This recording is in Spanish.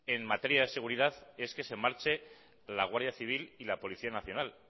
en materia de seguridad es que se marche la guardia civil y la policía nacional